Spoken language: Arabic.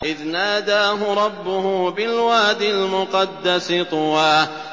إِذْ نَادَاهُ رَبُّهُ بِالْوَادِ الْمُقَدَّسِ طُوًى